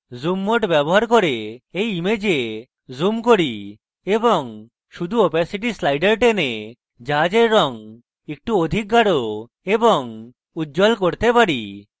আমি zoom mode ব্যবহার করে এই image zoom করি এবং শুধু opacity slider টেনে জাহাজের রঙ একটু অধিক গাঢ় এবং উজ্জ্বল করতে পারি